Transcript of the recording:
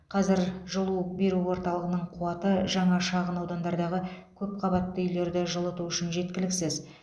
қазір жылу беру орталығының қуаты жаңа шағын аудандардағы көпқабатты үйлерді жылыту үшін жеткіліксіз